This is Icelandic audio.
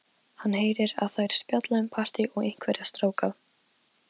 Gunnröður, hvað geturðu sagt mér um veðrið?